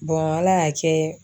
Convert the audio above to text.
Ala y'a kɛ